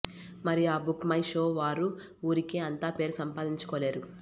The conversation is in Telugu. మరి ఆ బుక్ మై షో వారు ఊరికే అంతా పేరు సంపాదించుకోలేరు